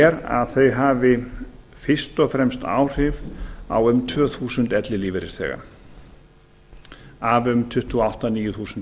er að þau hafi fyrst og fremst áhrif á um tvö þúsund ellilífeyrisþega af um tuttugu og átta til tuttugu þúsund